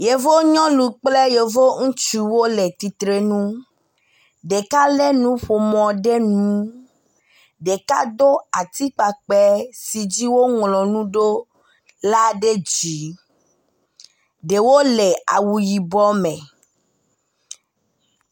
Yevu nyɔnu kple yevu ŋutsuwo le tsitre nu. Ɖeka le nuƒomɔ ɖe ŋu. Ɖeka do atsikpakpe si dzi woŋlɔ nu ɖo la ɛe dzi. Ɛewo le awu yibɔ me.